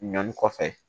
Ɲɔni kɔfɛ